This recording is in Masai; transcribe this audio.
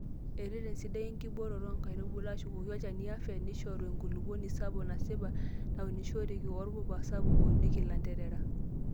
Ereten sidai enkibooroto oo nkaitubulu, ashukoki olchani afya, neishoru enkulupuoni sapuk nasipa naunishoreki woorpura sapuk ounieki ilanterera.